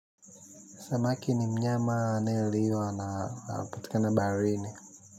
Samaki ni mnyama anayeliwa na anapatikana baharini.